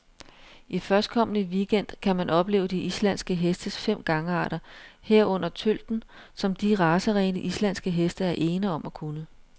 I førstkommende weekend gang kan man opleve de islandske hestes fem gangarter, herunder tølten, som de racerene, islandske heste er ene om at kunne.